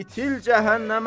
İtil cəhənnəmə!